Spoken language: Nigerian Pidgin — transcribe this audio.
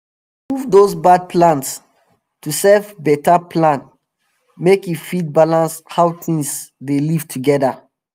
dem dey remove dose bad plants to save beta plant make e fit balance how tings dey live together